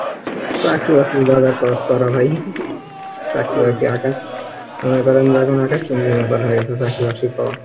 চাকরি বাকরি বাজার চড়া ভাই , চাকরি বাকরি মনে করেন যে এখন আকাশ চুম্বি ব্যাপার হয়ে গেছে চাকরি বাকরি ক